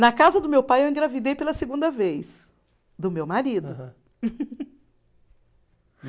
Na casa do meu pai eu engravidei pela segunda vez, do meu marido. Aham.